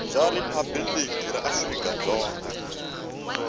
bya riphabuliki ra afrika dzonga